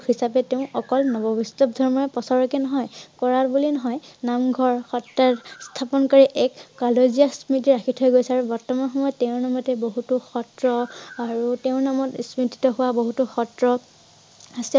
হিচাপে তেওঁ অকল নব বৈষ্ণৱ ধৰ্ম প্ৰচাৰ কে নহয়। কৰা বুলি নহয় নামঘৰ, সত্ৰ স্থাপন কৰি এক কলোজীয়া স্মৃতি ৰাখি থৈ গৈছে আৰু বৰ্তমান সময়ত তেওঁৰ নামতে বহুতো সত্ৰ আৰু তেওঁৰ নামত স্মৃতি হোৱা বহুতো সত্ৰ আছে